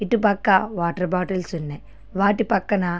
అటు పక్కనే water bottles ఉన్నాయి వాటి పక్కన --